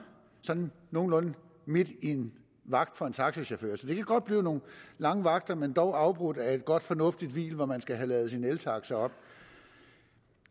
sådan nogenlunde midt i en vagt for en taxachauffør så det kan godt blive nogle lange vagter men dog afbrudt af et godt fornuftigt hvil hvor man skal have ladet sin eltaxa op